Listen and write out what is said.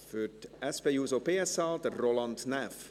Für die SP-JUSO-PSA, Roland Näf.